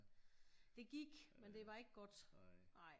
Det gik men det var ikke godt nej